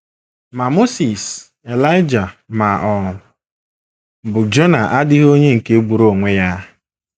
Ma Mosis, Elaịja, ma ọ bụ Jona adịghị onye nke gburu onwe ya.